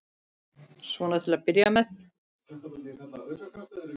Svona til að byrja með.